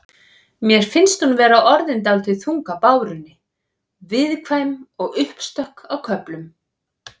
Mér finnst hún vera orðin dálítið þung á bárunni. viðkvæm og uppstökk á köflum.